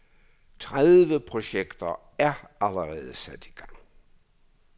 Tredive projekter er allerede sat i gang.